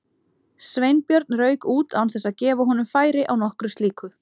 Sveinbjörn rauk út án þess að gefa honum færi á nokkru slíku.